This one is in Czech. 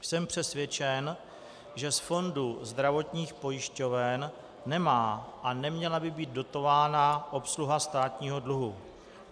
Jsem přesvědčen, že z fondu zdravotních pojišťoven nemá a neměla by být dotována obsluha státního dluhu.